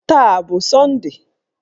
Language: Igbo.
Taa a bụ sọnde?